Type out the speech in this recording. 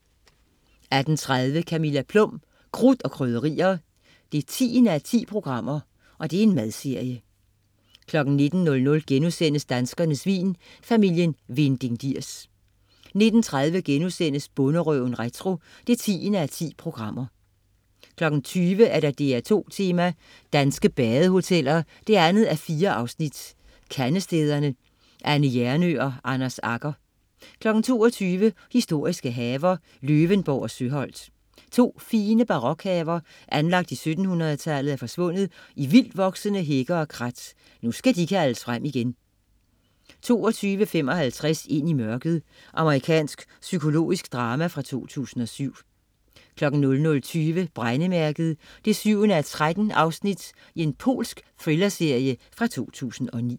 18.30 Camilla Plum. Krudt og Krydderier 10:10. Madserie 19.00 Danskernes vin.* Familien Vinding-Diers 19.30 Bonderøven retro 10:10* 20.00 DR2 Tema: Danske Badehoteller 2:4. Kandestederne. Anne Hjernøe og Anders Agger 22.00 Historiske haver. Løvenborg og Søholt. To fine barokhaver, anlagt i 1700-tallet, er forsvundet i vildtvoksende hække og krat. Nu skal de kaldes frem igen 22.55 Ind i mørket. Amerikansk psykologisk drama fra 2007 00.20 Brændemærket 7:13. Polsk thrillerserie fra 2009